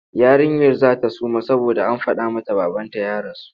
Yarinyar za ta suma saboda an faɗa mata babanta ya rasu.